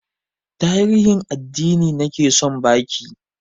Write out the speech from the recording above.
Tarihin addini nake son ba ki